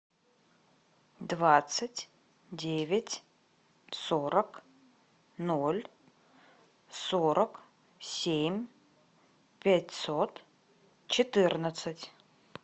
двадцать девять сорок ноль сорок семь пятьсот четырнадцать